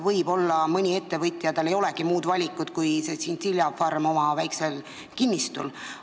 Võib-olla mõnel ettevõtjal ei olegi muud valikut kui see tšintšiljafarm tema väiksel kinnistul.